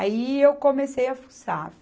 Aí eu comecei a fuçar.